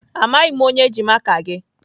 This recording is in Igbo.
Amaghị m onye ji maka gị.